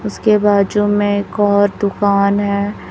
उसके बाजू में एक और दुकान है।